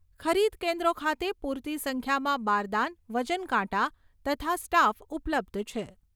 ખરીદ કેન્દ્રો ખાતે પુરતી સંખ્યામાં બારદાન, વજનકાંટા તથા સ્ટાફ ઉપલબ્ધ છે.